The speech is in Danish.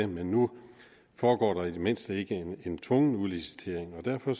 men nu foregår der i det mindste ikke en tvungen udlicitering og derfor